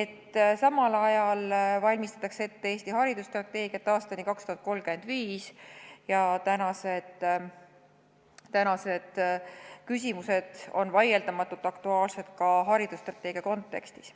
et samal ajal valmistatakse ette Eesti haridusstrateegiat aastani 2035 ja tänased küsimused on vaieldamatult aktuaalsed ka haridusstrateegia kontekstis.